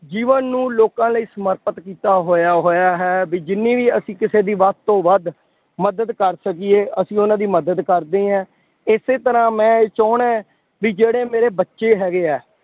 ਜੀਵਨ ਨੂੰ ਲੋਕਾਂ ਲਈ ਸਮਰਪਿਤ ਕੀਤਾ ਹੋਇਆ ਹੋਇਆ ਹੈ ਬਈ ਜਿੰਨੀ ਵੀ ਅਸ਼ੀਂ ਕਿਸੇ ਦੀ ਵੱਧ ਤੋਂ ਵੱਧ ਮਦਦ ਕਰ ਸਕੀਏ, ਅਸੀਂ ਉਹਨਾ ਦੀ ਮਦਦ ਕਰਦੇ ਹਾਂ। ਇਸੇ ਤਰ੍ਹਾਂ ਮੈਂ ਇਹ ਚਾਹੁੰਦਾ ਬਈ ਜਿਹੜੇ ਮੇਰੇ ਬੱਚੇ ਹੈਗੇ ਹੈ